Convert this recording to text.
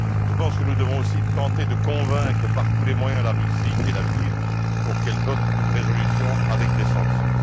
Je pense que nous devons aussi tenter de convaincre par tous les moyens la Russie et la Chine, pour qu'elles votent une résolution avec des sanctions.